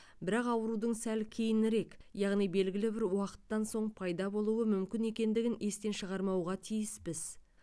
бірақ аурудың сәл кейінірек яғни белгілі бір уақыттан соң пайда болуы мүмкін екендігін естен шығармауға тиіспіз